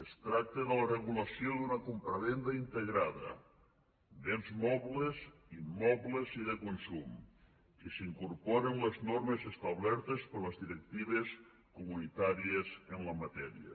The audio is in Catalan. es tracta de la regulació d’una compravenda integrada béns mobles immobles i de consum i s’incorporen les normes establertes per les directives comunitàries en la matèria